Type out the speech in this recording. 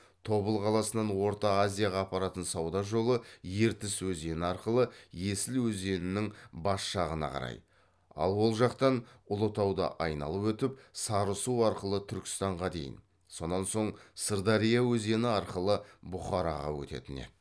тобыл қаласынан орта азияға апаратын сауда жолы ертіс өзені арқылы есіл өзенінің бас жағына қарай ал ол жақтан ұлытауды айналып өтіп сарысу арқылы түркістанға дейін сонан соң сырдария өзені арқылы бұхараға өтетін еді